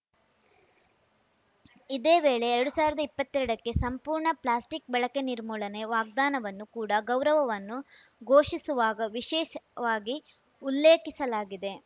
ಇದೇ ವೇಳೆ ಎರಡು ಸಾವಿರದ ಇಪ್ಪತ್ತೆರಡಕ್ಕೆ ಸಂಪೂರ್ಣ ಪ್ಲಾಸ್ಟಿಕ್‌ ಬಳಕೆ ನಿರ್ಮೂಲನೆ ವಾಗ್ದಾನವನ್ನು ಕೂಡ ಗೌರವವನ್ನು ಘೋಷಿಸುವಾಗ ವಿಶೇಷವಾಗಿ ಉಲ್ಲೇಖಿಸಲಾಗಿದೆ